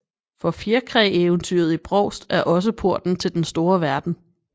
For fjerkræeventyret i Brovst er også porten til den store verden